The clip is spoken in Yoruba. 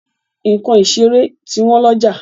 Nǹkan ìṣeré ti wọn lọ́jà.